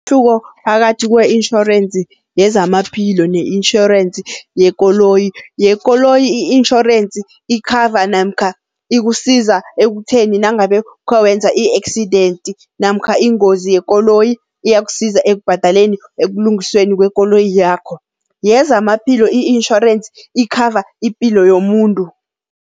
Umehluko phakathi kwe-insurance yezamaphilo ne-insurance yekoloyi. Yekoloyi i-insurance ikhava namkha ikusiza ekutheni nangabe khowenza i-accident namkha ingozi yekoloyi, iyakusiza ekubhadaleni ekulungisweni kwekoloyi yakho. Yezamaphilo i-insurance ikhava ipilo yomuntu.